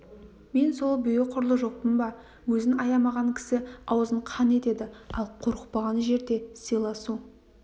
мен сол бүйі құрлы жоқпын ба өзін аямаған кісі аузын қан етеді ал қорықпаған жерде сыйласу